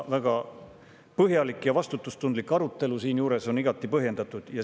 Väga põhjalik ja vastutustundlik arutelu siinjuures on igati põhjendatud.